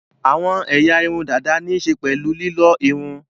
Àwọn ẹ̀yà irun dàda ní í ṣe pẹ̀lú lílọ́ irun